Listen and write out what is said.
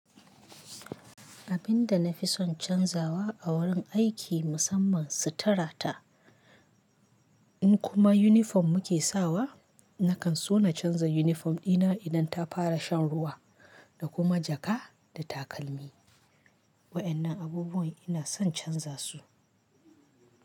Abin da na fi son canzawa a wurin aiki musamman su tara ta. In kuma yunifom muke sawa, na kan so na canza yunifom dina idan ta fara shan ruwa da kuma jaka da takalmi. Wa'ennan abubuwan ina son canza su.